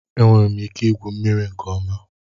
Enwere m ike igwu mmiri nke ọma